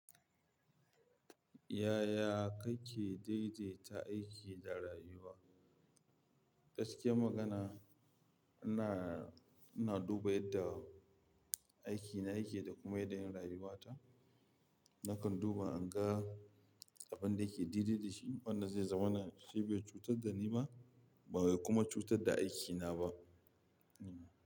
Yaya kake daidaita aiki da rayuwa? Gaskiyar magana, ina, ina duba yadda aiki na yake da kuma yadda yin rayuwa ta. Nakan duba in ga abin da yake daidai da shi, wanda zai zama na shi bai cutar da ni ba, ba zai kuma cutar da aiki na ba.